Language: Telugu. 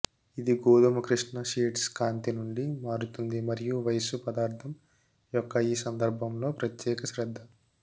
ఇది గోధుమ కృష్ణ షేడ్స్ కాంతి నుండి మారుతుంది మరియు వయస్సు పదార్థం యొక్క ఈ సందర్భంలో ప్రత్యేక శ్రద్ధ